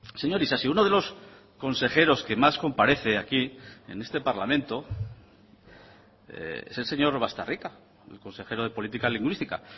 señor isasi uno de los consejeros que más comparece aquí en este parlamento es el señor baztarrika el consejero de política lingüística